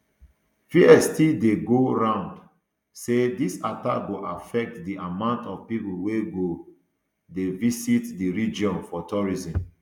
fears still dey go round say dis attack go affect di amount of pipo wey go um dey visit di region for tourism